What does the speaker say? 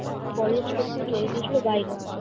college করতে চলে গিয়েছিল বাইরে।